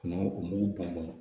N'o o mugu bɔnna